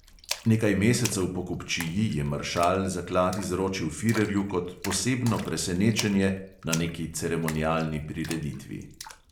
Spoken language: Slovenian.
Nekaj mesecev po kupčiji je maršal zaklad izročil firerju kot "posebno presenečenje" na neki ceremonialni prireditvi.